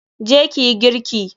Je ki yi girki!